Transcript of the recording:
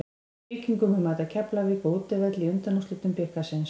Víkingur mun mæta Keflavík á útivelli í undanúrslitum bikarsins.